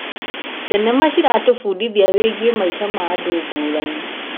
Thenema ciratũbundithia wĩgiĩ maica ma andũ ngũrani.